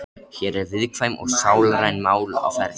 Hér eru viðkvæm og sálræn mál á ferð.